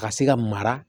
A ka se ka mara